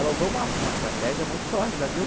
Ela usou uma uma estratégia muito sórdida, viu?